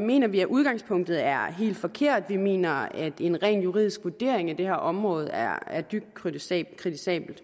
mener vi at udgangspunktet er helt forkert vi mener at en rent juridisk vurdering af det her område er er dybt kritisabelt kritisabelt